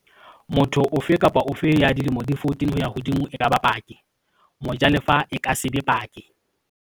Motho ofe kapa ofe ya dilemo di 14 ho ya hodimo e ka ba paki. Mojalefa e ka se be paki.